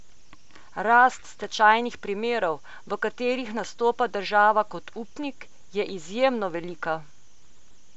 Rast stečajnih primerov, v katerih nastopa država kot upnik, je izjemno velika.